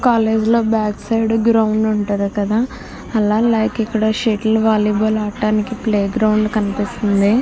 College లో back side ground ఉంటది కదా లైక్ అలా ఇక్కడ షటిల్ వాలీబాల్ ఆడటానికి ప్లే గ్రౌండ్ కనిపిస్తుంది.